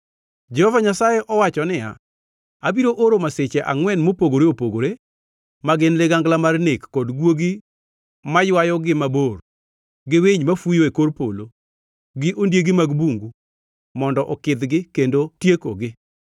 Jehova Nyasaye owacho niya, “Abiro oro masiche angʼwen mopogore opogore, ma gin ligangla mar nek kod guogi maywayo gi mabor gi winy mafuyo e kor polo gi ondiegi mag bungu mondo okidhgi kendo tiekogi.